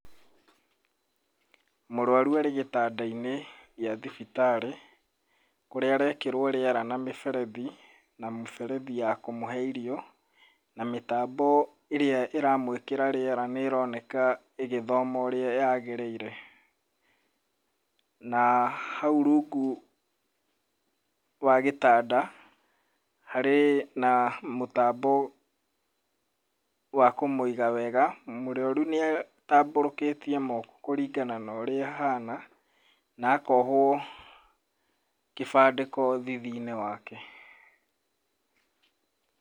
Mũrũaru arĩ gĩtanda-inĩ gĩa thibitarĩ, kũrĩa arekĩrwo rĩera na mĩberethi, na mũberethi ya kũmũhe irio, na mĩtambo ĩrĩa ĩramũĩkĩra rĩera nĩrenoka ĩgĩthoma ũrĩa yagĩrĩire. Na hau rungu wa gĩtanda, harĩ na mũtambo wa kũmũiga wega. Mũrwaru nĩatabũrũkĩtie moko kũringana no urĩa ahana, na akohwo kĩbandĩko thithi-inĩ wake.